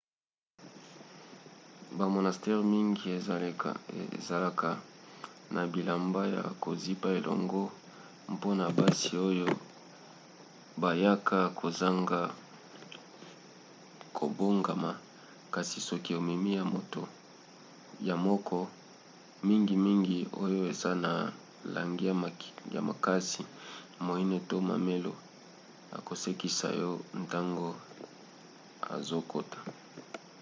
bamonastere mingi ezalaka na bilamba ya kozipa elongo mpona basi oyo bayaka kozanga kobongama kasi soki omemi ya yo moko mingimingi oyo eza na langi ya makasi moine to mamelo akosekisa yo ntango ozokota